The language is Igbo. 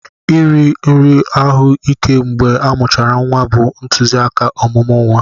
Iri nri ahụ ike mgbe amuchara nwa bụ ntụzịaka ọmụmụ nwa.